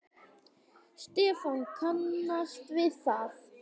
Stefán kannast við það.